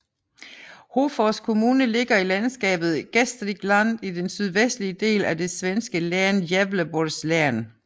Hofors kommune ligger i landskapet Gästrikland i den sydvestlige del af det svenske län Gävleborgs län